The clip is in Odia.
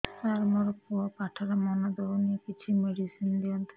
ସାର ମୋର ପୁଅ ପାଠରେ ମନ ଦଉନି କିଛି ମେଡିସିନ ଦିଅନ୍ତୁ